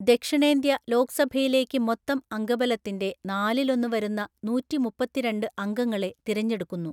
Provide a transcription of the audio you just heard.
ദക്ഷിണേന്ത്യ ലോക്സഭയിലേക്ക് മൊത്തം അംഗബലത്തിന്റെ നാലിലൊന്ന് വരുന്ന നൂറ്റിമുപ്പത്തിരണ്ട് അംഗങ്ങളെ തിരഞ്ഞെടുക്കുന്നു,